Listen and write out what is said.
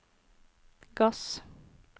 gass